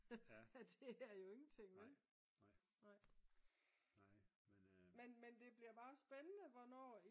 det er jo ingenting vel men det bliver bare spændende hvornår